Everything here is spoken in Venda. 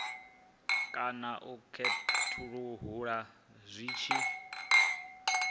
kana u khethulula zwi tshi